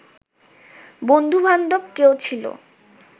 বন্ধুবান্ধব কেহ ছিল